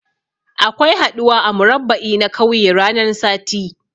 Akwai haɗuwa a murabba'i na kauye ranan sati.